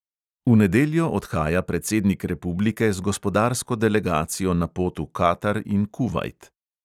V nedeljo odhaja predsednik republike z gospodarsko delegacijo na pot v katar in kuvajt.